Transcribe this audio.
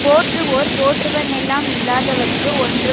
போற்றுவோர் போற்றுவன்னெல்லாம் இல்லாதவர்க்கு ஒன்று